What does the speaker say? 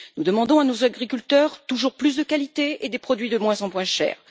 Nous demandons à nos agriculteurs toujours plus de qualité et des produits de moins en moins chers.